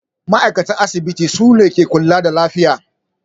Ma'aikatan asibiti sune ke kula da lafiya